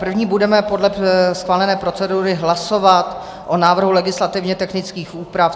První budeme podle schválené procedury hlasovat o návrhu legislativně technických úprav.